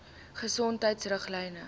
gesondheidriglyne